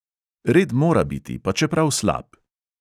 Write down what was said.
Red mora biti, pa čeprav slab.